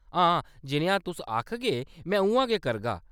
हां, जनेहा तुस आखगे में उ'यां गै करगा।